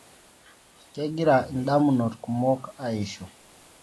kegira indamunot kumok eishu